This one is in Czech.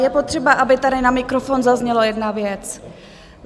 Je potřeba, aby tady na mikrofon zazněla jedna věc.